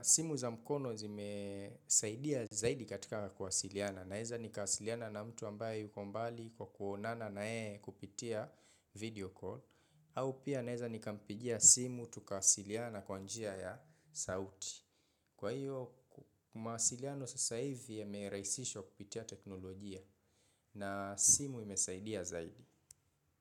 Simu za mkono zimesaidia zaidi katika kuwasiliana. Naeza nikawasiliana na mtu ambaye yuko mbali kwa kuonana na yeye kupitia video call. Au pia naeza nikampigia simu tukawasiliana kwa njia ya sauti. Kwa hiyo, mawasiliano sasa hivi yamerahisishwa kupitia teknolojia na simu imesaidia zaidi.